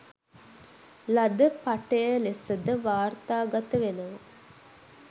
ලද පටය ලෙසද වාර්තාගත වෙනවා